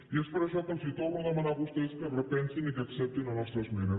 i és per això que els torno a demanar a vostès que s’ho repensin i que acceptin la nostra esmena